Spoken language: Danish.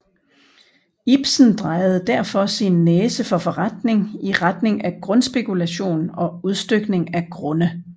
Ibsen drejede derfor sin næse for forretning i retning af grundspekulation og udstykning af grunde